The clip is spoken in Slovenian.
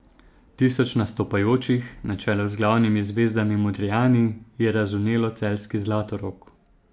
Tisoč nastopajočih, na čelu z glavnimi zvezdami Modrijani, je razvnelo celjski Zlatorog.